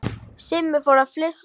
Simmi fór að flissa.